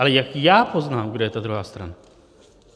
Ale jak já poznám, kdo je ta druhá strana?